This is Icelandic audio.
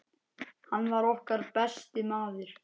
Hann var okkar besti maður.